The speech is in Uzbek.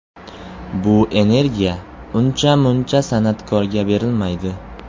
Bu energiya uncha-muncha san’atkorga berilmaydi.